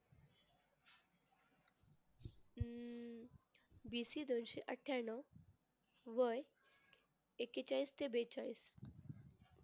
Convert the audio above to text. BC दोनशे अठ्ठयानऊ वय एक्केचाळीस ते बेचाळीस